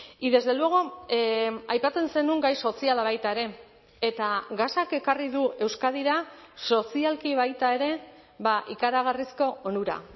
y desde luego aipatzen zenuen gai soziala baita ere eta gasak ekarri du euskadira sozialki baita ere ikaragarrizko onura